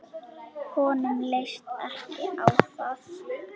Honum leist ekki á það.